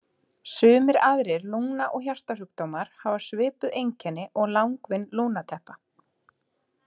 Sumir aðrir lungna- og hjartasjúkdómar hafa svipuð einkenni og langvinn lungnateppa.